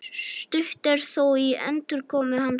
Stutt er þó í endurkomu hans